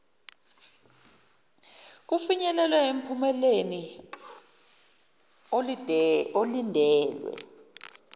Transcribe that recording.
kufinyelelwe emphumeleni olindelwe